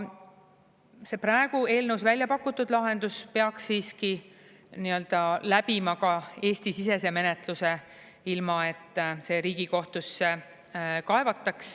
See praegu eelnõus väljapakutud lahendus peaks siiski läbima ka Eesti-sisese menetluse, ilma et see Riigikohtusse kaevataks.